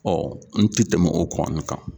Ɔ n ti tɛmɛ o kɔni kan